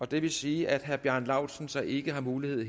det vil sige at herre bjarne laustsen så ikke har mulighed